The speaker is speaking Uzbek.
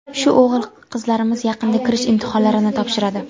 Shu o‘g‘il-qizlarimiz yaqinda kirish imtihonlarini topshiradi.